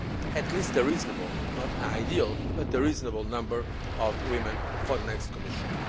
at least a reasonable not an ideal, but a reasonable number of women for the next Commission.